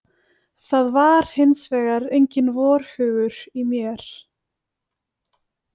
Það var hins vegar enginn vorhugur í mér.